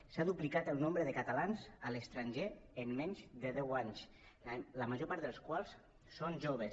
s’ha duplicat el nombre de catalans a l’estranger en menys de deu anys la major part dels quals són joves